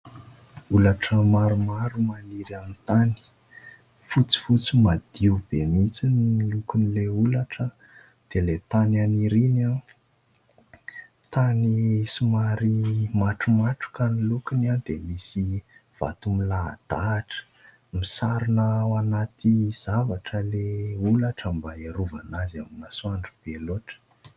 Holatra maromaro maniry amin'ny tany, fotsifotsy madio be mihitsy ny lokon'ilay holatra dia ilay tany aniriany, tany somary matromatroka ny lokony dia misy vato milahadahatra, misarona anaty zavatra ilay holatra mba hiarovana azy amin'ny masoandro be loatra.